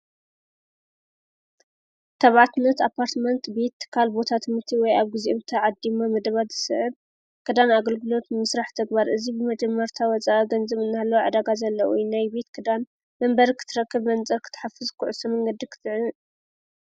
ተባዓትነት ኣፓርትመንት ቤት ትካል ቦታ ትምርቲ ወይ ኣብ ጊዜኡ ተዓዲሞ ምድባት ዝስዕብ ክዳን ኣገልግሎት ምስራሕ ተግባር እዝይ ብመጀመርታ ወፃኣ ገንዝብ እናሃለዉ ዕዳጋ ዘለውናይ ቤት ክዳን መንበር ክትረክብ መንጽር ክትሓፍዝ ኩዕሶ መንገዲ ኽትዕን